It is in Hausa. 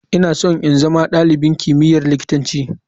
Ina so in zama dalibin kimiyyar likitanci.